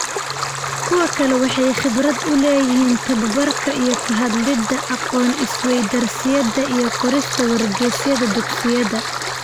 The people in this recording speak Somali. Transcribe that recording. Kuwo kale waxay khibrad u leeyihiin tabobarka iyo ka hadlida aqoon-is-weydaarsiyada iyo qorista wargeysyada dugsiyada.